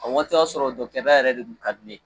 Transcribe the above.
O waati y'a sɔrɔ yɛrɛ de tun ka di ne ye